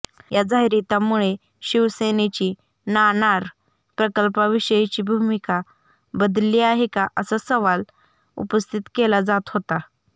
या जाहीरातामुळे शिवसेनेची नाणार प्रकल्पाविषयीची भूमिका बदलली आहे का असा सवाल उपस्थित केला जात होता